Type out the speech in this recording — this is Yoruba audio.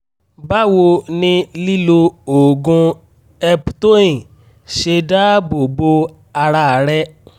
báwo ni lílo oògùn eptoin ṣe dáàbò bo ara rẹ?